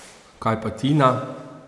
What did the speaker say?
Kaj pa Tina?